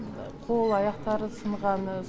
қол аяқтары сынғаны